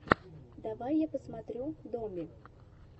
давай я посмотрю доми